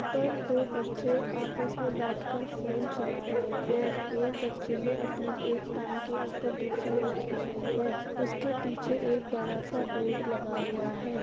यहाँ पर दो बच्चे आपस में बैठ कर फोन चला रहे है । एक बच्चे ने अपने एक टांग के ऊपर दूसरी रखी हुई है । उसके पीछे एक बडा सा बोर्ड लगा हुआ है ।